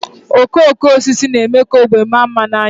Okooko osisi na-eme ka ógbè maa mma n'anya